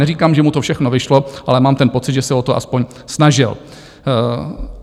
Neříkám, že mu to všechno vyšlo, ale mám ten pocit, že se o to aspoň snažil.